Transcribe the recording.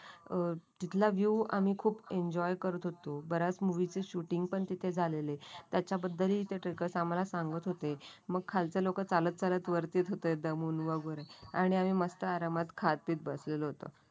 तिथला व्ह्यू आम्ही खूप एन्जॉय करत होतो. बऱ्याच मूवी ची शूटिंग पण तिथे झालेली त्यांच्याबद्दलची ट्रेकरस आम्हाला सांगत होते. मग खालचे लोक चालत चालत वरती येत होते दमून वगैरे आणि आम्ही मस्त आरामात खात पीत बसलो होतो.